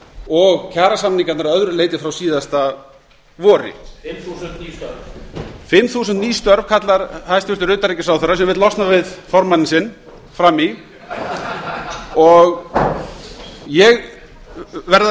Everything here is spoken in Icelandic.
og kjarasamningarnir að öðru leyti frá síðasta vori fimm þúsund ný störf fimm þúsund ný störf kallar hæstvirts utanríkisráðherra sem vill losna við formanninn sinn frammi í og ég verð að